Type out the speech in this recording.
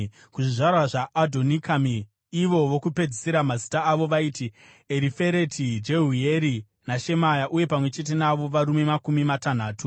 kuzvizvarwa zvaAdhonikami, ivo vokupedzisira, mazita avo vaiti Erifereti, Jeuyeri naShemaya, uye pamwe chete navo varume makumi matanhatu;